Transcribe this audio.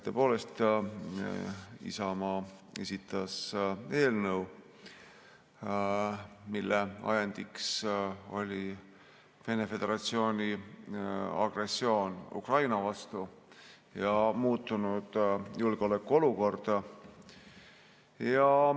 Tõepoolest, Isamaa on esitanud eelnõu, mille ajendiks oli Vene föderatsiooni agressioon Ukraina vastu ja muutunud julgeolekuolukord.